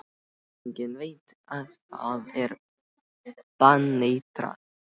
Enginn veit að það er baneitrað.